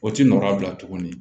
O ti nɔrɔya bila tuguni